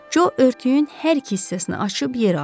Co örtüyün hər iki hissəsini açıb yerə atdı.